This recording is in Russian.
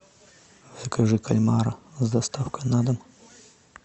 закажи кальмара с доставкой на дом